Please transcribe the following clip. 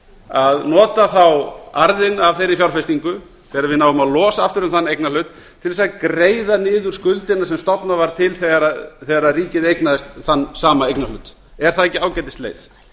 að nota þá arðinn af þeirri fjárfestingu þegar við náum að losa aftur um þann eignarhlut til að greiða niður skuldina sem stofnað var til þegar ríkið eignaðist þann sama eignarhlut er það ekki ágætisleið